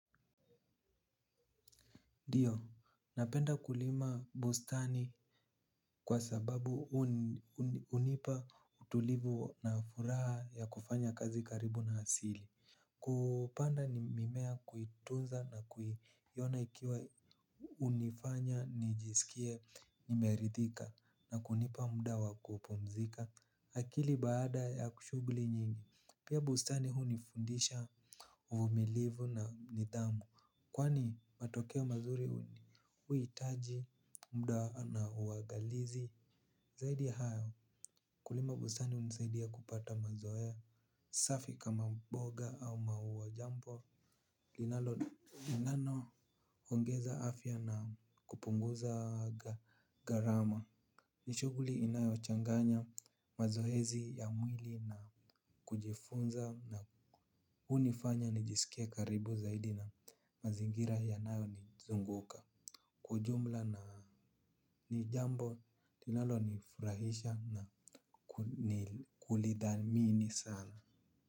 Ndiyo, napenda kulima bustani kwa sababu hunipa utulivu na furaha ya kufanya kazi karibu na asili. Kupanda ni mimea kuitunza na kuiona ikiwa hunifanya nijisikie nimeridhika na kunipa muda wa kupumzika akili baada ya kushugli nyingi. Pia bustani hunifundisha uvumilivu na nidhamu kwani matokeo mazuri huhitaji mda na uagalizi. Zaidi ya hayo kulima bustani hunisaidia kupata mazoea safi kama mboga au maua jambo linalo inanoongeza afya na kupunguza gharama. Ni shughuli inayochanganya mazoezi ya mwili na kujifunza na hunifanya nijisikie karibu zaidi na mazingira yanayonizunguka kwa ujumla na ni jambo linalonifurahisha na ni kulithamiini sana.